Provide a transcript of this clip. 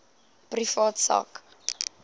privaat sak